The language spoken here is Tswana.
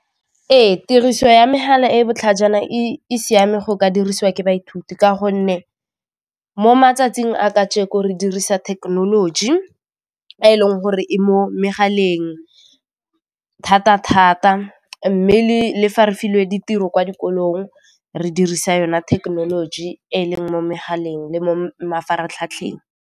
Ee tiriso ya megala e e botlhajana e siame go ka dirisiwa ke baithuti ka gonne mo matsatsing a kajeko re dirisa thekenoloji e e leng gore e mo megaleng thata thata mme le fa re filwe ditiro kwa dikolong re dirisa yone thekenoloji e leng mo megaleng le mo mafaratlhatlheng.